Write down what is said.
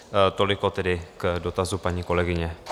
Toliko tedy k dotazu paní kolegyně.